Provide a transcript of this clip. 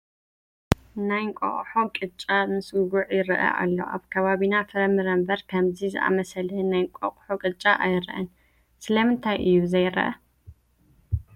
ናይ እንቋቑሖ ቂጫ ምስ ጉዕ ይርአ ኣሎ፡፡ ኣብ ከባቢና ፍርፍር እምበር ከምዚ ዝኣምሰለ ናይ እንቋቑሖ ቅጫ ኣይርአን፡፡ ስለምንታይ እዩ ዘርአ?